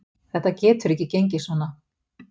Þetta getur ekki gengið svona.